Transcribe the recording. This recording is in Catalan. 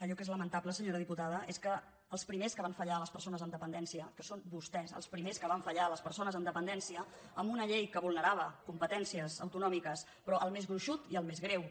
allò que és lamen·table senyora diputada és que els primers que van fa·llar a les persones amb dependència que són vostès els primers que van fallar a les persones amb depen·dència amb una llei que vulnerava competències au·tonòmiques però el més gruixut i el més greu